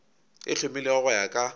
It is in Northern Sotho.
e hlomilwego go ya ka